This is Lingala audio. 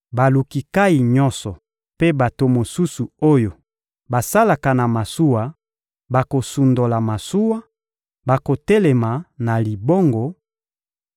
Baluki nkayi nyonso mpe bato mosusu oyo basalaka na masuwa bakosundola masuwa; bakotelema na libongo,